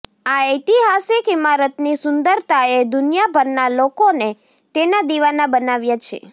આ ઐતિહાસિક ઈમારતની સુંદરતાએ દુનિયાભરના લોકોને તેના દિવાના બનાવ્યા છે